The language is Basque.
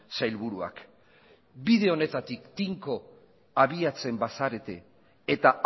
sailburuak bide honetatik tinko abiatzen bazarete eta